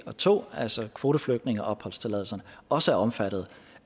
og to altså kvoteflygtningeopholdstilladelserne også er omfattet